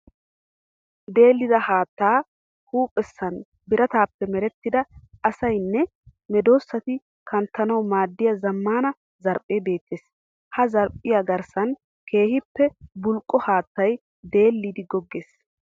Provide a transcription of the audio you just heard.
Deellida haatta huuphessan biratappe merettida asayinne medosatti kanttanawu maadiya zamaana zarphphe beetes. Ha zarphpbiya garssan keehippe bulqqo haattay deelliddi goggees.